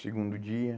Segundo dia.